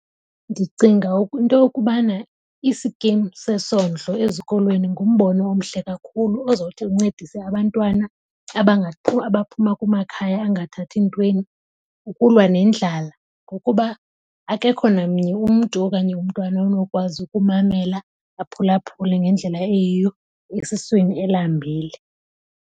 Ndicinga into yokubana isikim sesondlo ezikolweni ngumbono omhle kakhulu ozothi uncedise abantwana abaphuma kumakhaya angathathi ntweni ukulwa nendlala. Ngokuba akekho namnye umntu okanye umntwana onokwazi ukumamela aphulaphule ngendlela eyiyo esiswini elambile.